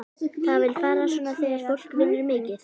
Það vill fara svona þegar fólk vinnur mikið.